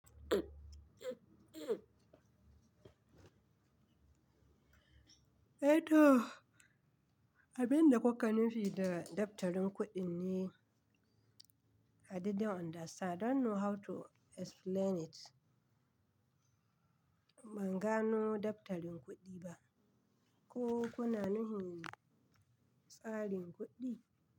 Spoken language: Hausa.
Eh to, abin da kuka nufi da daftarin kuɗin ne? I didn't understand. I don't know how to explain it. Ban gano daftarin kuɗi ba. Ko kuna nufin tsarin kuɗi?